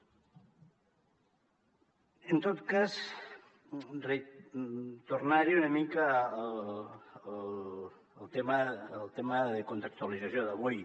en tot cas tornar hi una mica al tema de contextualització d’avui